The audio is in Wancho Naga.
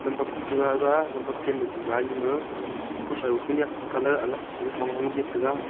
bap tragaga lampap chen ma diwar lima ku shau pu niak colour alag Hong hong jit taiga.